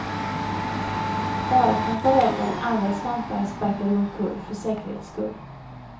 Bara kantareller, andra svampar sparkar du omkull för säkerhets skull.